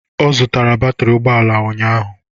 Ọ zụtara batịrị ụgbọala ụnyaahụ